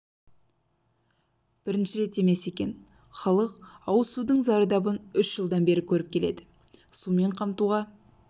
бірінші рет емес екен халық ауыз судың зардабын үш жылдан бері көріп келеді сумен қамтуға